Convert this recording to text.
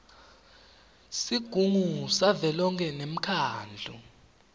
sigungu savelonkhe nemkhandlu